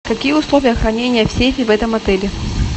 какие условия хранения в сейфе в этом отеле